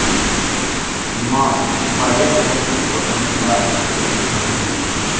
म पर्यत गति को अनुस्वार गति कहते हैं